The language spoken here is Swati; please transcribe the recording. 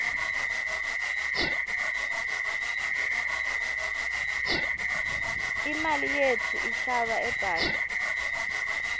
imali yetfu ihlala ebhange